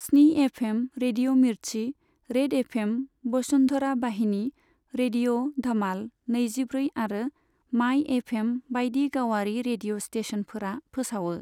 स्नि FM, radio Mirchi, red FM, Vasundhara Vahini, radio Dhamaal नैजिब्रै आरो माइ एफएम बायदि गावारि रेडिय' स्टेसनफोरा फोसावो।